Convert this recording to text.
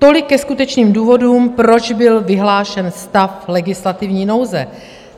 Tolik ke skutečným důvodům, proč byl vyhlášen stav legislativní nouze.